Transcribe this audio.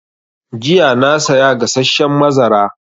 Jiya na saya gasasshen mazara